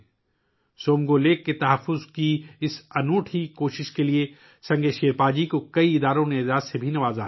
سنگے شیرپا کو کئی تنظیموں نے سومگو جھیل کے تحفظ کی اس منفرد کوشش کے لیے اعزاز سے نوازا ہے